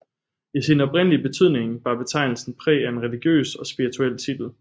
I sin oprindelige betydning bar betegnelsen præg af en religiøs og spirituel titel